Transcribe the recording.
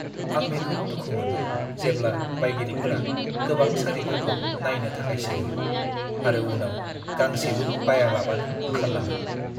आं बेखौ दुखु मोनो जेब्ला बायगिरिफोरा गोबां सारिफोरखौ नायनो थाखाय सोङो आरो उनाव गांसेबो बायालाबानो ओंखारलाङो।